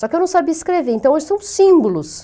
Só que eu não sabia escrever, então hoje são símbolos.